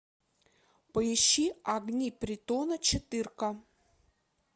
поищи огни притона четырка